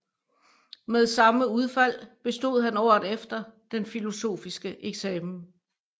Med samme udfald bestod han året efter den filosofiske eksamen